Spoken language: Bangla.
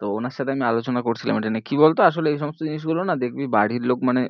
তো ওনার সাথে আমি আলোচনা করছিলাম এটা নিয়ে, কি বলতো আসলে এই সমস্ত জিনিসগুলো না দেখবি বাড়ির লোক মানে